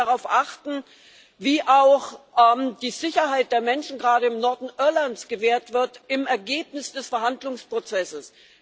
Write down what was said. Wir werden darauf achten, wie auch die Sicherheit der Menschen, gerade im Norden Irlands, gewahrt wird im Ergebnis des Verhandlungsprozesses.